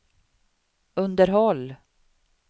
underhåll